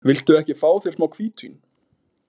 Viltu ekki fá þér smá hvítvín?